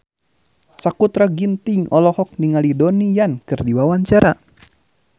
Sakutra Ginting olohok ningali Donnie Yan keur diwawancara